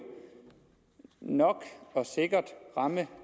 nok og sikkert ramme